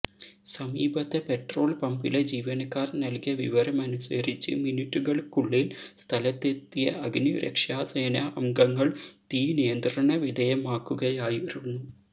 സമീപത്തെ പെട്രോൾ പമ്പിലെ ജീവനക്കാർ നൽകിയ വിവരമനുസരിച്ച് മിനിറ്റുകൾക്കുള്ളിൽ സ്ഥലത്തെത്തിയ അഗ്നിരക്ഷാസേനാ അംഗങ്ങൾ തീ നിയന്ത്രണ വിധേയമാക്കുകയായിരുന്നു